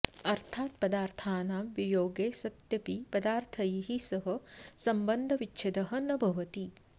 अर्थात् पदार्थानां वियोगे सत्यपि पदार्थैः सह सम्बन्धविच्छेदः न भवति